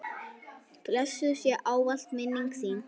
Blessuð sé ávallt minning þín.